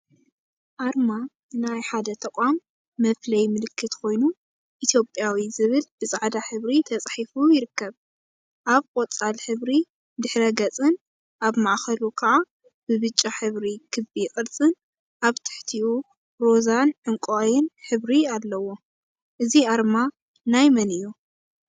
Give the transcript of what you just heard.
አርማ ናይ ሓደ ተቋም መፍለይ ምልክት ኮይኑ፤ ኢትዮጵያዊ ዝብልብፃዕዳ ሕብሪ ተፃሒፉ ይርከብ፡፡ አብ ቆፃል ሕብሪ ድሕረ ገፅን አብ ማእከሉ ከዓ ብብጫ ሕብሪ ክቢ ቅርፂን አብ ትሕቲኡ ሮዛን ዕንቋይን ሕብሪ አለዎ፡፡ እዚ አርማ ናይ መን እዩ?